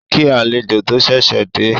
Ó kí àlejò tó ṣẹ̀ṣẹ̀ dé